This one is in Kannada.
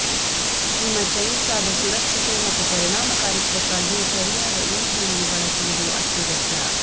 ನಿಮ್ಮ ಚೈನ್ಸಾದ ಸುರಕ್ಷತೆ ಮತ್ತು ಪರಿಣಾಮಕಾರಿತ್ವಕ್ಕಾಗಿ ಸರಿಯಾದ ಇಂಧನವನ್ನು ಬಳಸುವುದು ಅತ್ಯಗತ್ಯ